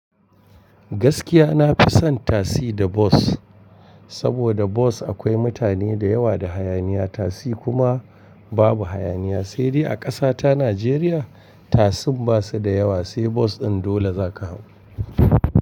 Gaskiya nafi son taxi da bus. Saboda bus akwai mutane da yawa da hayaniya, tasi kuma babu hayaniya. Sai dai a ƙasa ta Najeriya tasin basu da yawa, sai bus ɗin dole zaka hau.